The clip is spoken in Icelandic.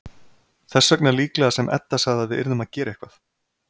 Þess vegna líklega sem Edda sagði að við yrðum að gera eitthvað.